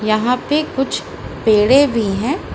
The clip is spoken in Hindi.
यहां पे कुछ पेडें भी हैं।